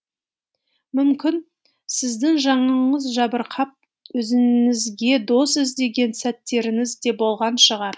мүмкін сіздің жаныңыз жабырқап өзіңізге дос іздеген сәттеріңіз де болған шығар